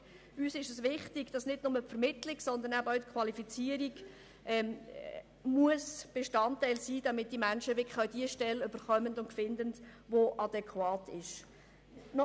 Uns ist es wichtig, dass nicht nur die Vermittlung, sondern auch die Qualifizierung Bestandteil der Arbeitssuche sein muss, damit die Menschen eine adäquate Stelle finden.